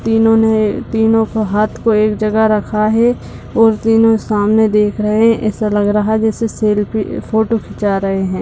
तीनो के तीनो ने हाथ में एक जग रखा है और तीनो सामने देख रहे है ऐसा लग रहा है जैसे सेल्फ फोटो खिचा रहे है।